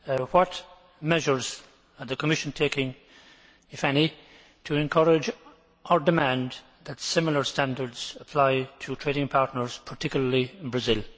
What measures is the Commission taking, if any, to encourage or demand that similar standards apply to trading partners, particularly in Brazil?